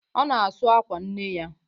Ọ na-asụ àkwà nne ya.